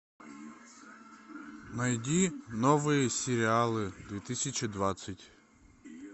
найди новые сериалы две тысячи двадцать